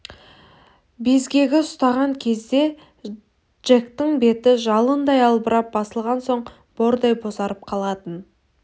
безгегі ұстаған кезде джектің беті жалындай албырап басылған соң бордай бозарып қалатын